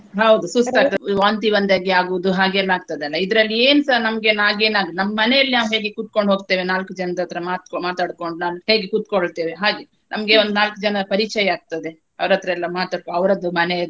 ಹೌದು ವಾಂತಿ ಬಂದಂಗೆ ಆಗುವುದು ಹಾಗೆಲ್ಲಾ ಆಗ್ತದಲ್ಲಾ ಇದ್ರಲ್ಲಿ ಏನ್ಸ ನಮ್ಗೆನ್ ಹಾಗೆನ್ ಆಗಲ್ಲ ನಮ್ಮ ಮನೇಲಿ ನಾವ್ ಹೇಗೆ ಕೂತ್ಕೋಂಡು ಹೋಗ್ತೇವೆ ನಾಲ್ಕು ಜನದ ಹತ್ರ ಮಾತ~ ಮಾತಾಡ್ಕೊಂಡು ನಾವ್ ಹೇಗೆ ಕೂತಕೊಳ್ತೇವೆ ಹಾಗೆ ನಮ್ಗೆ ಒಂದ್ ನಾಲ್ಕ ಜನಾ ಪರಿಚಯ ಆಗ್ತದೆ ಅವ್ರ ಹತ್ರ ಎಲ್ಲಾ ಮಾತಾಡ್ಕೊಂಡು ಅವ್ರದು ಮನೆಯದ್ದು.